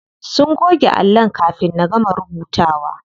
Sun goge allon kafin na gama rubutawa.